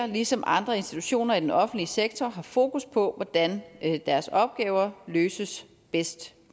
ligesom andre institutioner i den offentlige sektor har fokus på hvordan deres opgaver løses bedst